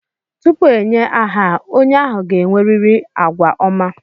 Tupu enye aha a, onye ahụ ga-enwerịrị àgwà ọma.